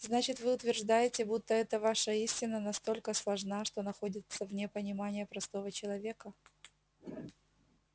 значит вы утверждаете будто эта ваша истина настолько сложна что находится вне понимания простого человека